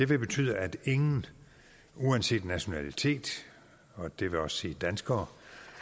vil betyde at ingen uanset nationalitet og det vil også sige danskere